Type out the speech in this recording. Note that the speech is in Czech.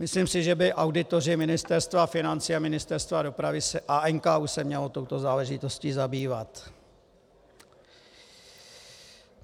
Myslím si, že by auditoři Ministerstva financí a Ministerstva dopravy a NKÚ se měli touto záležitostí zabývat.